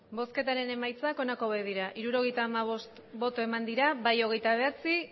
emandako botoak hirurogeita hamabost bai hogeita bederatzi